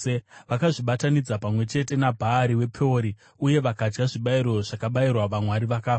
Vakazvibatanidza pamwe chete naBhaari wePeori, uye vakadya zvibayiro zvakabayirwa vamwari vakafa.